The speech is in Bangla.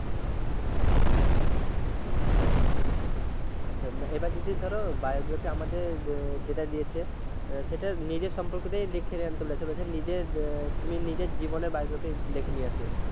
হম আচ্ছা এবার যদি ধরো biography আমাদের যেটা দিয়েছে, সেটা নিজের সম্পর্কেতেই লিখে আনতে বলেছে নিজের, তুমি নিজের জীবনের biography লেখে নিয়ে আসিও।